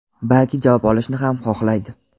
balki javob olishni ham xohlaydi.